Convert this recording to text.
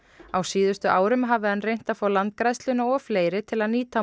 á síðustu árum hafi hann reynt að fá Landgræðsluna og fleiri til að nýta